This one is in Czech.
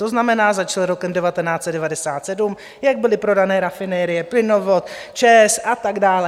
To znamená, začal rokem 1997, jak byly prodány rafinerie, plynovod, ČEZ a tak dále.